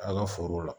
A ka forow la